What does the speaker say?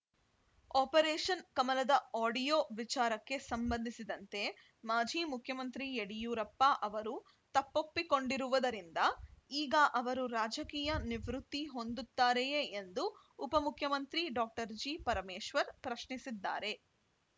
operation ಕಮಲದ audio ವಿಚಾರಕ್ಕೆ ಸಂಬಂಧಿಸಿದಂತೆ ಮಾಜಿ ಮುಖ್ಯಮಂತ್ರಿ ಯಡಿಯೂರಪ್ಪ ಅವರು ತಪ್ಪೊಪ್ಪಿಕೊಂಡಿರುವುದರಿಂದ ಈಗ ಅವರು ರಾಜಕೀಯ ನಿವೃತ್ತಿ ಹೊಂದುತ್ತಾರೆಯೇ ಎಂದು ಉಪಮುಖ್ಯಮಂತ್ರಿ ಡಾಕ್ಟರ್ ಜಿಪರಮೇಶ್ವರ್‌ ಪ್ರಶ್ನಿಸಿದ್ದಾರೆ